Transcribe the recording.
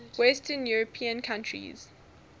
western european countries